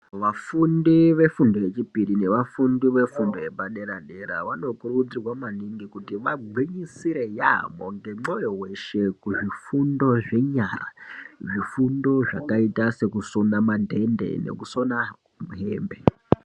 Vafundi vefundo yechipiri navafundi vefundo yapadera dera vanokurudzirwa maninji kuti vagwinyisire yamho ngemoyo weshe kuzvifundo zvenyara zvifundo zvakaita sekusona madhende nekusona hembe.